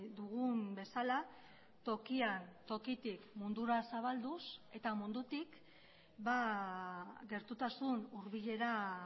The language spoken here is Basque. dugun bezala tokian tokitik mundura zabalduz eta mundutik gertutasun hurbilera